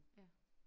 Ja